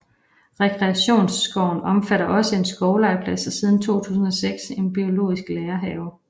Rekreationsskoven omfatter også en skovlegeplads og siden 2006 en biologisk lærehave